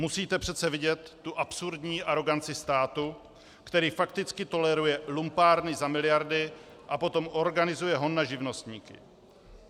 Musíte přece vidět tu absurdní aroganci státu, který fakticky toleruje lumpárny za miliardy a potom organizuje hon na živnostníky.